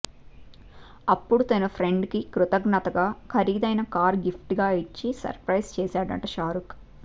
అప్పుడు తన ఫ్రెండ్ కి కృతజ్ఞతగా ఖరీదైన కారు గిఫ్ట్ గా ఇచ్చి సర్ ప్రైజ్ చేశాడట షారూఖ్